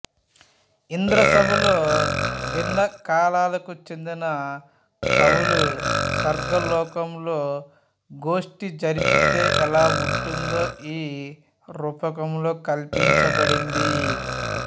ఇంద్రసభలో భిన్నకాలాలకు చెందిన కవులు స్వర్గలోకంలో గోష్టి జరిపితే ఎలా ఉంటుందో ఈ రూపకంలో కల్పించబడింది